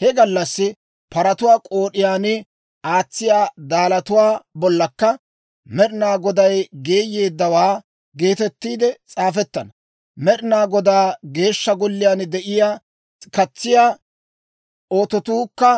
He gallassi paratuwaa k'ood'iyaan aatsiya daalatuwaa bollankka, «Med'inaa Godaw Geeyeeddawaa» geetettiide s'aafettana. Med'inaa Godaa Geeshsha Golliyaan de'iyaa katsiyaa ototuukka